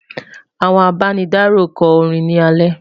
àwọn àbá ní daro kò rìn ní ale